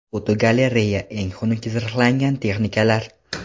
Fotogalereya: Eng xunuk zirhlangan texnikalar.